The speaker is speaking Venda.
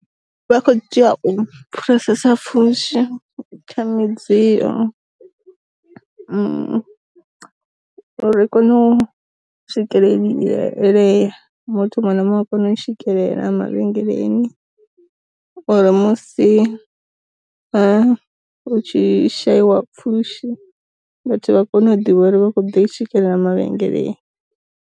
Vha kho tea u pfhesesa pfushi kha mi dziyo, ri kone u swikelelea muthu muṅwe na muṅwe kona u swikelela ma vhengeleni uri musi u tshi sheliwa pfhushi, vhathu vha kone u ḓivha uri vha khou ḓi i swikelela ma vhengeleni.